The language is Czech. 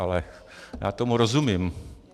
Ale já tomu rozumím.